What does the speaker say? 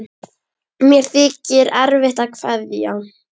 Mér þykir erfitt að kveðja.